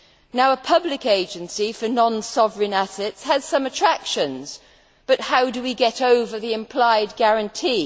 Now, a public agency for non sovereign assets has some attractions, but how do we get over the implied guarantee?